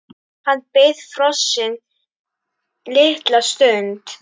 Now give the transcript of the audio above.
Hann beið frosinn litla stund.